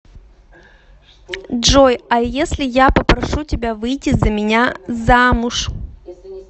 джой а если я попрошу тебя выйти за меня замуж